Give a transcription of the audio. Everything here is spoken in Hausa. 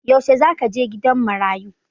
Yaushe za ka je gidan marayu?